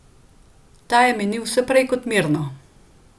Ta je minil vse prej kot mirno.